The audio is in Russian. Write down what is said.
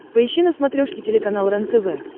поищи на смотрешке телеканал рентв